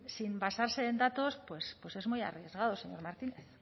sin basarse en datos pues pues es muy arriesgado señor martínez